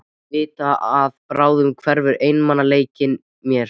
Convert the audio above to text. Vita að bráðum hverfur einmanaleikinn mér.